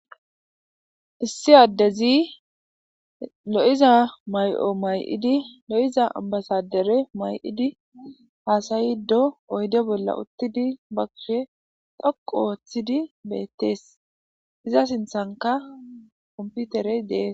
issi addezi lo'iza may'o may'idi lo'iza ambasadere may'idi haasayido oyde bolla uttidi ba kushe dhoqu ooththidi beettees. iza sinthanka komputerey dees.